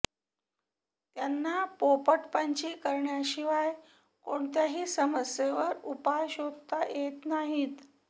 त्यांना पोपटपंची करण्याशिवाय कोणत्याही समस्येवर उपाय शोधता येत नाहीत